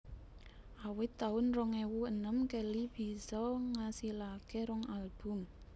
Awit taun rong ewu enem Kelly bisa ngasilaké rong album